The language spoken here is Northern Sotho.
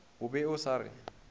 o be a sa re